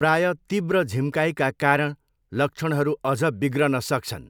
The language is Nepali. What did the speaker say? प्रायः तीव्र झिम्काइका कारण लक्षणहरू अझ बिग्रन सक्छन्।